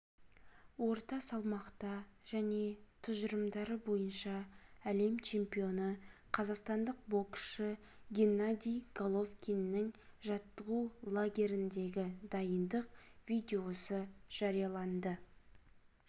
орта салмақта және тұжырымдары бойынша әлем чемпионы қазақстандық боксшы геннадий головкиннің жаттығу лагеріндегі дайындық видеосы жарияланды